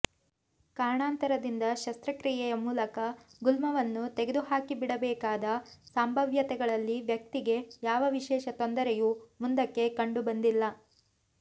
ಕಾರಣಾಂತರದಿಂದ ಶಸ್ತ್ರಕ್ರಿಯೆಯ ಮೂಲಕ ಗುಲ್ಮವನ್ನು ತೆಗೆದುಹಾಕಿಬಿಡಬೇಕಾದ ಸಂಭಾವ್ಯತೆಗಳಲ್ಲಿ ವ್ಯಕ್ತಿಗೆ ಯಾವ ವಿಶೇಷ ತೊಂದರೆಯೂ ಮುಂದಕ್ಕೆ ಕಂಡುಬಂದಿಲ್ಲ